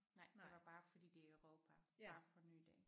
Nej det var bare fordi det er Europa bare forny det